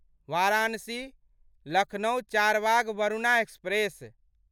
Varanasi Lucknow Charbagh Varuna express